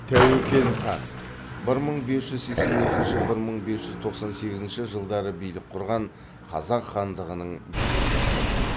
тәуекел хан бір мың бес жүз сексен екінші бір мың бес жүз тоқсан сегізінші жылдары билік құрған қазақ хандығының билеушісі